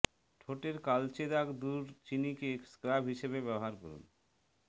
ঠোঁটের কালচে দাগ দূর চিনিকে স্ক্রাব হিসাবে ব্যবহার করুন